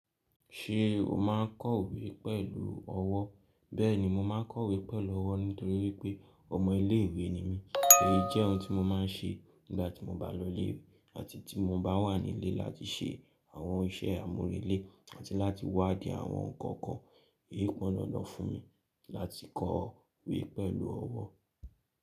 Ṣé o máa ń kọ̀wé pẹ̀lú ọwọ́? Bẹ́ẹ̀ni mo máa ń kọ̀wé pẹ̀lú ọwọ́ nítorí pé ọmọ ilé ìwé ni mí. Èyí jẹ́ ohun tí mo máa ń ṣe nígbà tí mo bá lọlé àti tí mo bá wà nílé láti ṣe àwọn iṣẹ́ àmúrelé àti láti wádìí àwọn ǹkan kan. Eyí pọn dandan fún mi láti kọ̀wé pẹ̀lú ọwọ́.